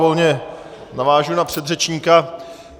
Volně navážu na předřečníka.